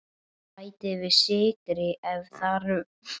Bætið við sykri ef þarf.